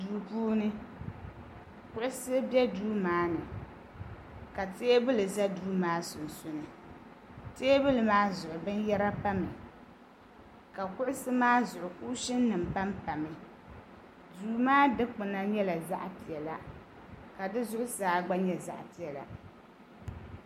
Duu puuni kuɣusi be duu maani ka teebuli za di sunsuuni teebuli maa zuɣu binyɛra pami ka kuɣusi maa zuɣu kuushini nima panpami duu maa dikpina nyɛla zaɣa piɛla ka di zuɣusaa gba nyɛ zaɣa piɛla.